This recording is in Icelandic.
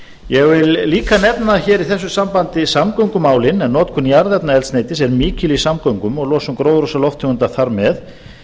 ég vil líka nefna hér í þessu sambandi samgöngumálin en notkun jarðefnaeldsneytis er mikil í samgöngum og losun gróðurhúsalofttegunda þar með